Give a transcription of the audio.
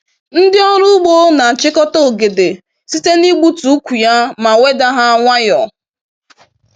Ndị ọrụ ugbo n'achịkọta ogede site n'igbutu ukwu ya ma wedaa ha nwayọọ.